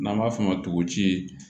N'an b'a f'o ma tokoji